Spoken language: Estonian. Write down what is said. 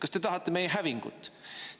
Kas te tahate meie hävingut?